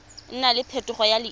nna le phetogo ya leina